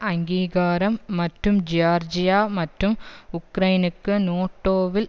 அங்கீகாரம் மற்றும் ஜியார்ஜியா மற்றும் உக்ரைனுக்கு நேட்டோவில்